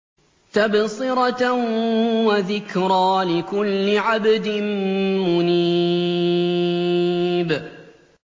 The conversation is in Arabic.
تَبْصِرَةً وَذِكْرَىٰ لِكُلِّ عَبْدٍ مُّنِيبٍ